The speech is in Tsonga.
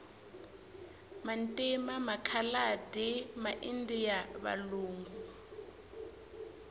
vantima makhaladi ma indiya valungu